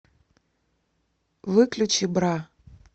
выключи бра